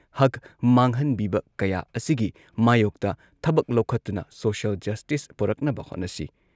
ꯍꯛ ꯃꯥꯡꯍꯟꯕꯤꯕ ꯀꯌꯥ ꯑꯁꯤꯒꯤ ꯃꯥꯌꯣꯛꯇ ꯊꯕꯛ ꯂꯧꯈꯠꯇꯨꯅ ꯁꯣꯁꯤꯌꯦꯜ ꯖꯁꯇꯤꯁ ꯄꯨꯔꯛꯅꯕ ꯍꯣꯠꯅꯁꯤ ꯫